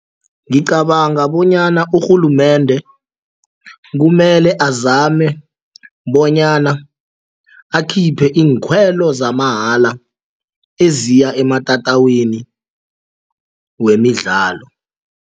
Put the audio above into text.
Ngicabanga bonyana urhulumende kumele azame bonyana akhiphe iinkhwelo zamamahala eziya ematatawini wemidlalo.